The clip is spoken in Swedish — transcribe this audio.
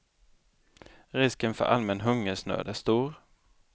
Risken för allmän hungersnöd är stor.